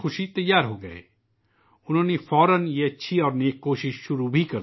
انہوں نے اس سجھاؤ کو بخوشی قبول کیا اور فوری طور پر اس اچھی اور نیک کوشش کا آغاز کیا